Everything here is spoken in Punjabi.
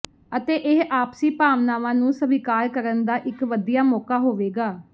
ਅਤੇ ਇਹ ਆਪਸੀ ਭਾਵਨਾਵਾਂ ਨੂੰ ਸਵੀਕਾਰ ਕਰਨ ਦਾ ਇਕ ਵਧੀਆ ਮੌਕਾ ਹੋਵੇਗਾ